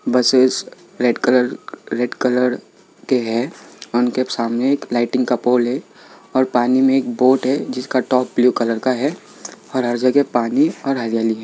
Buses red colour red colour के है उनके सामने एक लाइटिंग का पोल है और पानी मे एक बोट है जिसका टॉप ब्लू कलर का है और जगह पानी और हरियाली है।